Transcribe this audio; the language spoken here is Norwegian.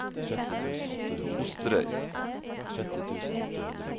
Osterøy